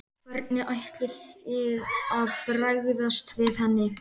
Hvernig ætlið þið að bregðast við henni?